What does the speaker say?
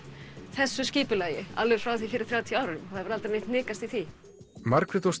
þessu skipulagi alveg frá því fyrir þrjátíu árum það hefur aldrei neitt hnikast í því Margrét og